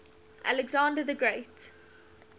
alexander the great